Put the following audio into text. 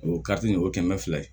O kariti o ye kɛmɛ fila ye